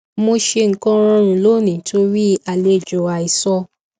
mo ṣe nnkan rọrùn lónìí torí àlejò àìsọ